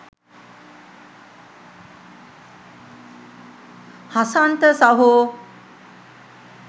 හසන්ත සහෝ.